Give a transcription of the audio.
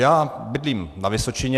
Já bydlím na Vysočině.